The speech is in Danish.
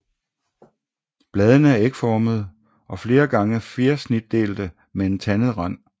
Bladene er ægformede og flere gange fjersnitdelte med en tandet rand